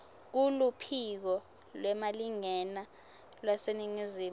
kuluphiko lwemalingena lwaseningizimu